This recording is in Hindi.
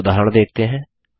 एक उदाहरण देखते हैं